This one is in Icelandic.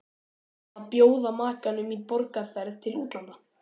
Eða að bjóða makanum í borgarferð til útlanda.